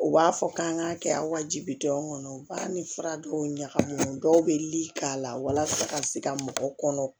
U b'a fɔ k'an k'a kɛ aw bi denw kɔnɔ u b'a ni fura dɔw ɲagamina dɔw bɛ li k'a la walasa ka se ka mɔgɔw kɔnɔ